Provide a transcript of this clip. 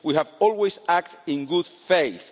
We have always acted in good faith.